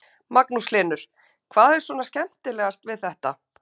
Magnús Hlynur: Hvað er svona skemmtilegast við þetta?